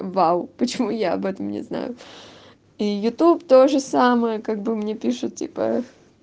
уау почему я об этом не знаю и ютуб тоже самое как бы мне пишет типа